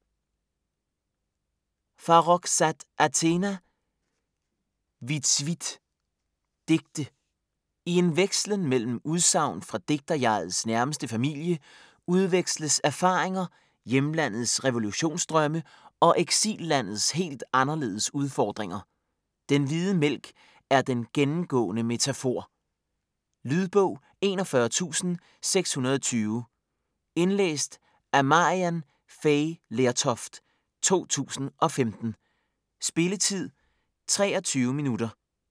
Farrokhzad, Athena: Vitsvit Digte. I en vekslen mellem udsagn fra digterjegets nærmeste familie udveksles erfaringer, hjemlandets revolutionsdrømme og eksillandets helt anderledes udfordringer. Den hvide mælk er den gennemgående metafor. Lydbog 41620 Indlæst af Maryann Fay Lertoft, 2015. Spilletid: 0 timer, 23 minutter.